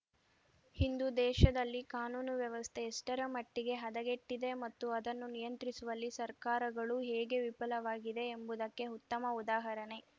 ಇಂದು ದೇಶದಲ್ಲಿ ಕಾನೂನು ವ್ಯವಸ್ಥೆ ಎಷ್ಟರ ಮಟ್ಟಿಗೆ ಹದಗೆಟ್ಟಿದೆ ಮತ್ತು ಅದನ್ನು ನಿಯಂತ್ರಿಸುವಲ್ಲಿ ಸರ್ಕಾರಗಳು ಹೇಗೆ ವಿಫಲವಾಗಿದೆ ಎಂಬುದಕ್ಕೆ ಉತ್ತಮ ಉದಾಹರಣೆ